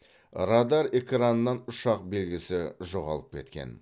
радар экранынан ұшақ белгісі жоғалып кеткен